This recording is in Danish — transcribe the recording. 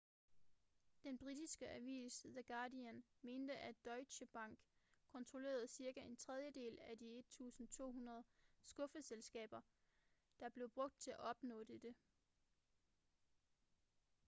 den britiske avis the guardian mente at deutsche bank kontrollerede cirka en tredjedel af de 1200 skuffeselskaber der blev brugt til at opnå dette